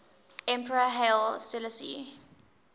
emperor haile selassie